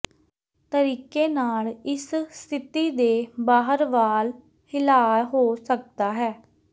ਤਰੀਕੇ ਨਾਲ ਇਸ ਸਥਿਤੀ ਦੇ ਬਾਹਰ ਵਾਲ ਹਿਲਾਅ ਹੋ ਸਕਦਾ ਹੈ